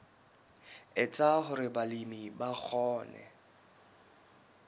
etsa hore balemi ba kgone